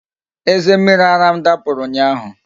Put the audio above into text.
Eze mmiri ara m dapụrụ ụnyaahụ